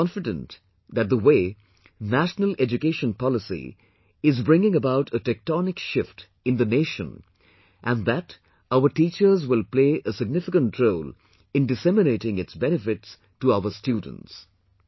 I am confident that the way National Education Policy is bringing about a tectonic shift in the nation and that our teachers will play a significant role in disseminating its benefits to our students